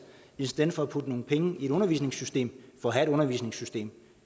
i stedet for at vi putter nogle penge i et undervisningssystem for at have et undervisningssystem